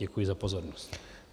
Děkuji za pozornost.